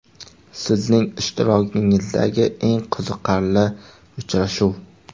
Sizning ishtirokingizdagi eng qiziqarli uchrashuv?